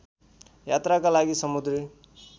यात्राका लागि समुद्री